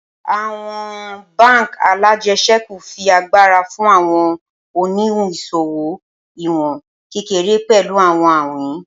Awọn bánk alájẹsẹ́kù fi agbara fun awọn oniwun iṣowo iwọn kekere pẹlu awọn awin